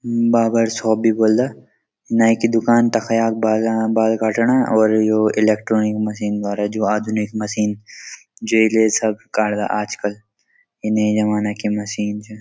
Barber shop भी बल नाई की दूकान तख या बाला बाल काठणा और यो इलेक्ट्रॉनिक मशीन द्वारा जू आधुनिक मशीन जे ले सब काट्दा आजकल ई नयी ज़माने की मशीन च।